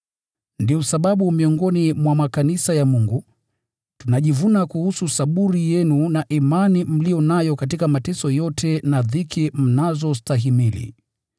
Ndiyo sababu miongoni mwa makanisa ya Mungu, tunajivuna kuhusu saburi yenu na imani mliyo nayo katika mateso yote na dhiki mnazostahimili.